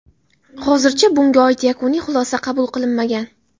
Hozircha bunga oid yakuniy xulosa qabul qilinmagan.